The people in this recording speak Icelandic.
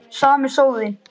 Sami sóðinn.